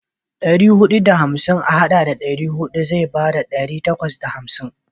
Ɗari huɗu da hamsin a haɗa da ɗari huɗu zai bada ɗari takwas da hamsin.